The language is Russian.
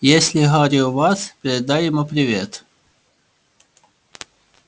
если гарри у вас передай ему привет